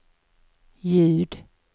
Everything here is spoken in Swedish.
ljud